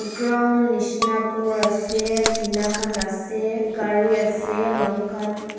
ground nisna ghor ase tina khan ase gari ase manu khan --